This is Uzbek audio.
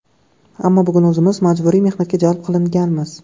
Ammo bugun o‘zimiz majburiy mehnatga jalb qilinganmiz.